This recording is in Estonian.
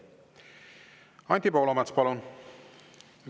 Anti Poolamets, palun!